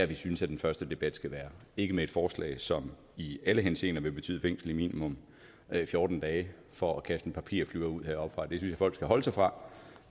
vi synes at den første debat skal være ikke med et forslag som i alle henseender vil betyde fængsel i minimum fjorten dage for at kaste en papirflyver ud heroppefra det synes jeg folk skal holde sig fra